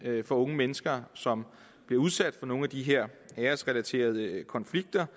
at unge mennesker som bliver udsat for nogle af de her æresrelaterede konflikter